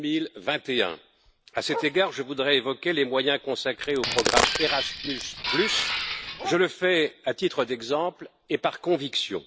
2021. À cet égard, je voudrais évoquer les moyens consacrés au programme Erasmus, je le fais à titre d'exemple et par conviction.